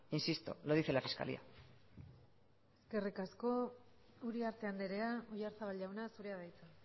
insisto lo dice la fiscalía eskerrik asko uriarte andrea oyarzabal jauna zurea da hitza